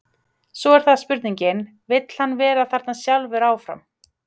Svo er það bara spurningin, vill hann vera þarna sjálfur áfram?